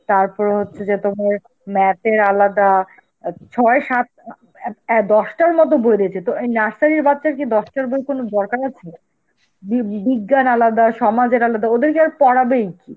তারপরে হচ্ছে যে তোমার math এর আলাদা, আ ছয় সাত আ অ্যাঁ দশটার মতন বই দিয়েছে, তো এই nursery র বাচ্চাকে দশটা বইয়ের কোন দরকার আছে? বি~ বিজ্ঞান আলাদা, সমাজের আলাদা, ওদের কি আর পড়াবেই